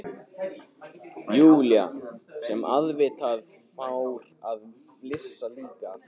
Lúlla sem auðvitað fór að flissa líka.